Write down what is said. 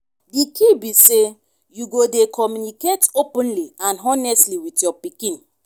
di key be say you go dey communicate openly and honestly with your pikin.